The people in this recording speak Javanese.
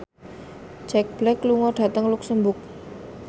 Jack Black lunga dhateng luxemburg